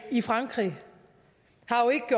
i frankrig